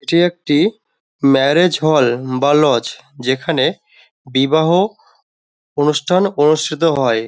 এটি একটি marriage hall বা লজ যেখানে বিবাহ অনুষ্ঠান অনুষ্ঠিও হয়।